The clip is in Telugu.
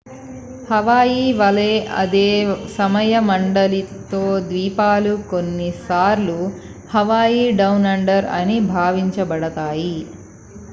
"""హవాయి వలె అదే సమయ మండలితో ద్వీపాలు కొన్నిసార్లు హవాయి డౌన్ అండర్" అని భావించబడతాయి.""